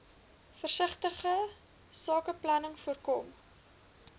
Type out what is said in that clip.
versigtige sakebeplanning voorkom